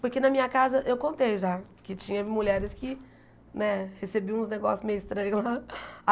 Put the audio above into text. Porque na minha casa, eu contei já, que tinha mulheres que, né, recebiam uns negócios meio estranhos lá.